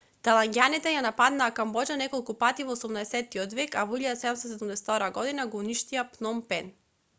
тајланѓаните ја нападнаа камбоџа неколку пати во 18-от век а во 1772 г го уништија пном пен